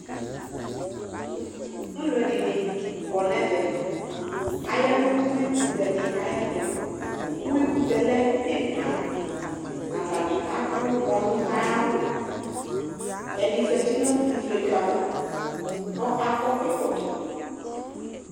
Alʋɛdɩnɩ kɔ nʋ ɛvɛ Aya nʋ uyuikʋtɛ dɩ ayɛtʋ Uyuikʋtɛ yɛ lɛ ɛna Atanɩ adʋ kɔnʋ ayʋ awʋ Ɛdɩ zati nʋ ifietso ava kʋ akɔ ɛkɔtɔ